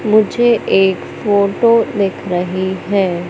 मुझे एक फोटो दिख रही है।